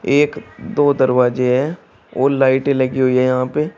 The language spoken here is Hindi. एक दो दरवाजे है और लाइटे लगी हुई है यहां पे।